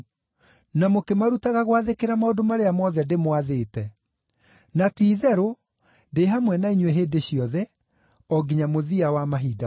na mũkĩmarutaga gwathĩkĩra maũndũ marĩa mothe ndĩmwathĩte. Na ti-itherũ ndĩ hamwe na inyuĩ hĩndĩ ciothe, o nginya mũthia wa mahinda maya.”